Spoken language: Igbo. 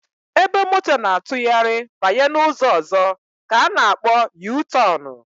Ebe moto na-atụgharị banye n'ụzọ ọzọ ka a na akpọ yutọnụ